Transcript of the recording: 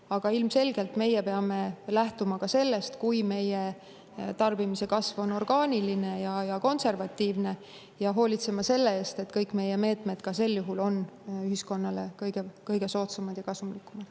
Aga ilmselgelt me peame lähtuma ka sellest, kui meie tarbimise kasv on orgaaniline ja konservatiivne, ja hoolitsema selle eest, et kõik meie meetmed ka sel juhul on ühiskonnale kõige soodsamad ja kasumlikumad.